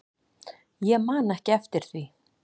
Ég man ekki eftir því.